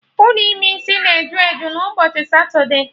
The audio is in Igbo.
Ụlọ ime isi na eju eju n'ụbọchị satude